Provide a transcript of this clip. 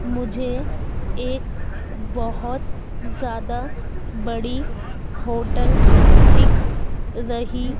मुझे एक बहोत ज्यादा बड़ी होटल दिख रही--